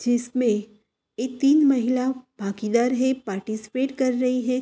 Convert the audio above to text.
जिसमे एक तीन महिला भागीदार है पार्टिसिपेट कर रही है।